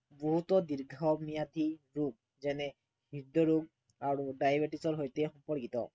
গুৰুতৰ দীৰ্ঘম্য়াদী ৰোগ যেনে হৃদৰোগ আৰু diabetes ৰ সৈতে সম্পৰ্কিত